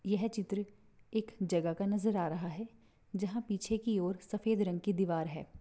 यह चित्र एक जगह का नजर आ रहा है जहा पीछे की ओर सफ़ेद रंग की दीवार है।